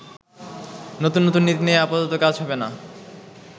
নতুন নতুন নীতি নিয়ে আপাতত কাজ হবেনা।